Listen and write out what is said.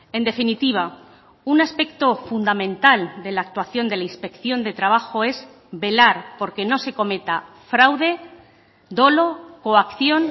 en definitiva un aspecto fundamental de la actuación de la inspección de trabajo es velar por que no se cometa fraude dolo coacción